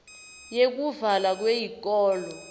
yekuvalwa kweyikolo